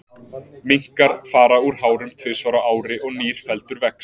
Minkar fara úr hárum tvisvar á ári og nýr feldur vex.